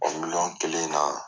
O miliyɔn kelen na